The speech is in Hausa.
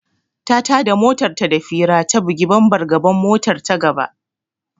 Ta tada motar da fira ta bugi bambar gaban motar ta gaba.